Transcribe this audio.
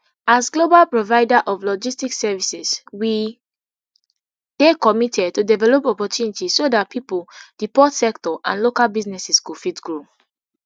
as global provider of logistics services we dey committed to develop opportunities so dat pipo di port sector and local businesses go fit grow